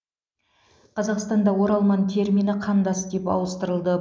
қазақстанда оралман термині қандас деп ауыстырылды